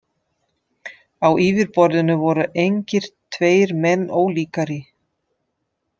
Á yfirborðinu voru engir tveir menn ólíkari.